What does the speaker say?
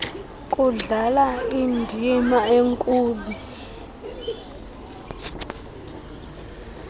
kudlala indima enkulu